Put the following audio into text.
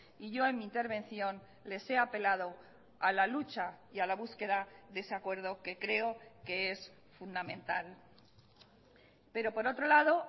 y yo en mi intervención les he apelado a la lucha y a la búsqueda de ese acuerdo que creo que es fundamental pero por otro lado